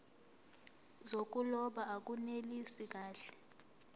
zokuloba akunelisi kahle